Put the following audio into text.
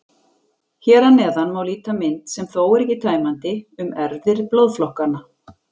Hér að neðan má líta mynd, sem þó er ekki tæmandi, um erfðir blóðflokkanna.